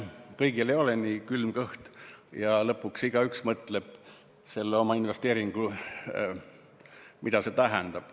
Kõigil ei ole nii külm kõht ja lõpuks mõtleb igaüks oma investeeringut tehes, mida see tähendab.